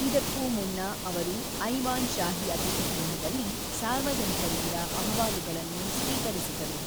ಇದಕ್ಕೂ ಮುನ್ನ ಅವರು ಐವಾನ್ ಶಾಹಿ ಅತಿಥಿಗೃಹದಲ್ಲಿ ಸಾರ್ವಜನಿಕರಿಂದ ಅಹವಾಲುಗಳನ್ನು ಸ್ವೀಕರಿಸಿದರು.